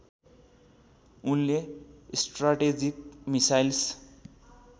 उनले strategic missiles